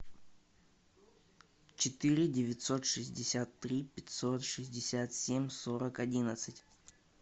четыре девятьсот шестьдесят три пятьсот шестьдесят семь сорок одиннадцать